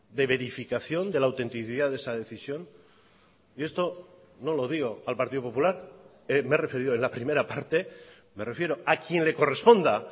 de verificación de la autenticidad de esa decisión y esto no lo digo al partido popular me he referido en la primera parte me refiero a quien le corresponda